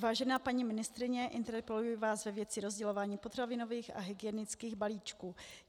Vážená paní ministryně, interpeluji vás ve věci rozdělování potravinových a hygienických balíčků.